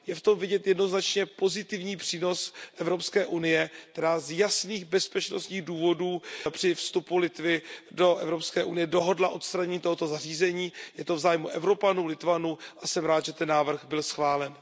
Je v tom vidět jednoznačně pozitivní přínos Evropské unie, která z jasných bezpečnostních důvodů při vstupu Litvy do Evropské unie dohodla odstranění tohoto zařízení, je to v zájmu Evropanů, Litevců a jsem rád, že ten návrh byl schválen.